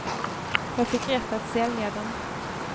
Jag fick rätt att sälja den.